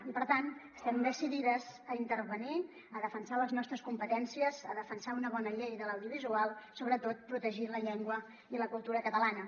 i per tant estem decidides a intervenir a defensar les nostres competències a defen·sar una bona llei de l’audiovisual sobretot protegir la llengua i la cultura catalanes